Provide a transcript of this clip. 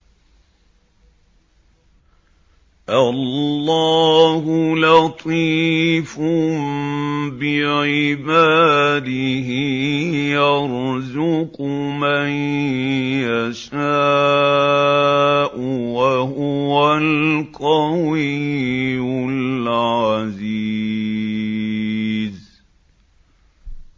اللَّهُ لَطِيفٌ بِعِبَادِهِ يَرْزُقُ مَن يَشَاءُ ۖ وَهُوَ الْقَوِيُّ الْعَزِيزُ